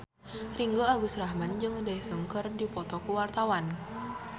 Ringgo Agus Rahman jeung Daesung keur dipoto ku wartawan